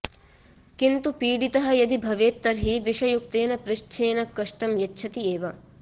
किन्तु पीडितः यदि भवेत् तर्हि विषयुक्तेन पृच्छेन कष्टं यच्छति एव